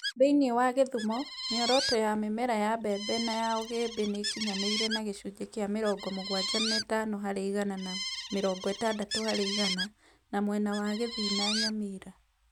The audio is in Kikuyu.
Thĩinĩ wa Kisumu, mĩoroto ya mĩmera ya mbembe na ya ũgĩmbĩ nĩ ĩkinyanĩire na gĩcunjĩ kĩa 75% na 60%, na mwena wa Kisii, Nyamira na